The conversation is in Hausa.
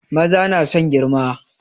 Maza na son girma